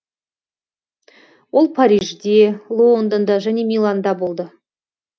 ол парижде лондонда және миланда болды